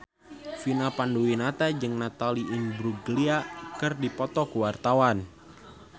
Vina Panduwinata jeung Natalie Imbruglia keur dipoto ku wartawan